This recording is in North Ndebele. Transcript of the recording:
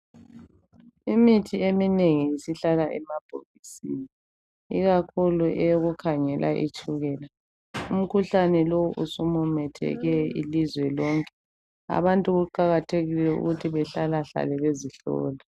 Imithi eminengi isihlala emabhokisini, ikakhulu eyokukhangela itshukela. Umkhuhlane lo usumumetheke ilizwe lonke abantu kuqakathekile ukuthi behlalahlale bezihlola.